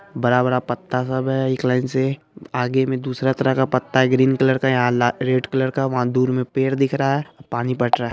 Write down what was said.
बड़ा-बड़ा पत्ता सब है एक लाइन से आगे मे दूसरा तरह का पत्ता है ग्रीन कलर का यहाँ रेड कलर का वहा दूर मे पेड़ दिख रहा है पानी बट रहा है ।